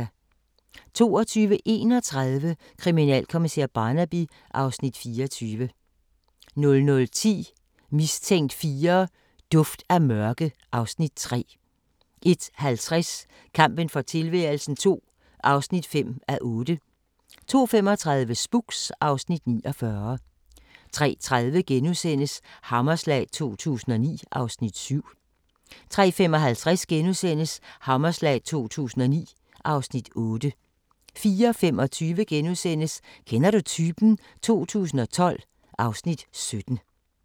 22:31: Kriminalkommissær Barnaby (Afs. 24) 00:10: Mistænkt 4: Duft af mørke (Afs. 3) 01:50: Kampen for tilværelsen II (5:8) 02:35: Spooks (Afs. 49) 03:30: Hammerslag 2009 (Afs. 7)* 03:55: Hammerslag 2009 (Afs. 8)* 04:25: Kender du typen? 2012 (Afs. 17)*